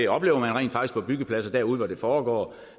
oplever rent faktisk på byggepladser derude hvor det foregår